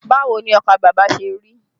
Báwo ni ọkà bàbà ṣe rí?